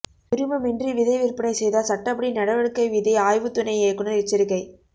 உரிமமின்றி விதை விற்பனை செய்தால் சட்டப்படி நடவடிக்கைவிதை ஆய்வு துணை இயக்குநா் எச்சரிக்கை